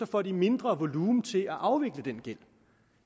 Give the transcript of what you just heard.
får de mindre volumen til at afvikle den gæld